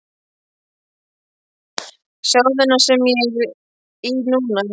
Sjáðu þennan sem ég er í núna?